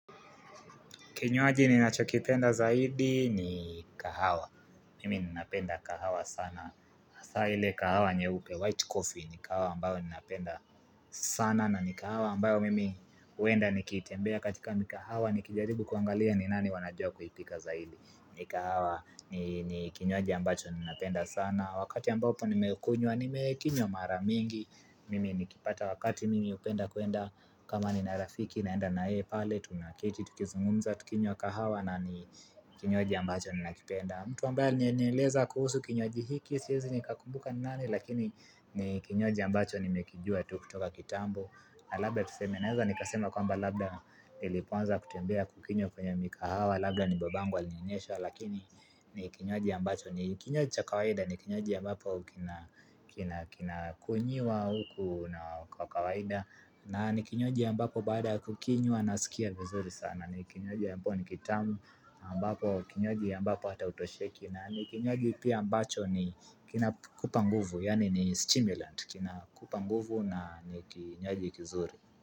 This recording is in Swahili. Kinywaji ni nacho kipenda zaidi ni kahawa. Mimi ninapenda kahawa sana. haSa ile kahawa nye upe white coffee ni kahawa ambayo ninapenda sana. Na ni kahawa ambayo mimi uenda nikitembea katika mikahawa. Nikijaribu kuangalia ni nani wanajua kuipika zaidi. Ni kahawa ni kinywaji ambacho ninapenda sana. Wakati ambapo nimekunywa, nimekinywa maramingi. Mimi nikipata wakati mimi upenda kuenda. Kama ni narafiki naenda na ye pale, tunaketi, tukizungumza, tukinywa kahawa na ni kinywaji ambacho ni nakipenda mtu ambaye alinieleza kuhusu kinywaji hiki, siezi ni kakumbuka ni nani Lakini ni kinywaji ambacho ni mekijua tu kutoka kitambo na labda tusemenaeza ni kasema kwa mba labda iliponza kutembea kukinywa kwenye mikahawa Labda ni babangu alinionyesha lakini ni kinywaji ambacho ni kinywaji cha kawaida ni kinywaji ambapo kina kunyiwa huku na kawaida na ni kinywaji ambapo baada kukinywa nasikia vizuri sana ni kinywaji ambapo ni kitamu ambapo kinywaji ambapo hata utosheki na ni kinywaji pia ambacho ni kina kupanguvu Yani ni stimulant kina kupanguvu na ni kinywaji kizuri.